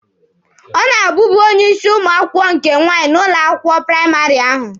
Ọ na-abubu onye isi ụmụ akwụkwọ nke nwaanyị n'ụlọ akwụkwọ praịmarị ahụ.